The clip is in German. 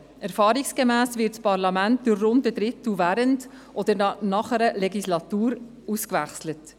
Erfahrungsgemäss wird das Parlament zu rund einem Drittel während oder nach einer Legislatur ausgewechselt.